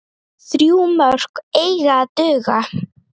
Þrjú mörk eiga að duga.